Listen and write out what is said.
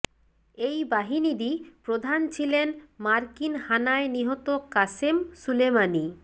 এই বাহিনীরই প্রধান ছিলেন মার্কিন হানায় নিহত কাসেম সুলেমানি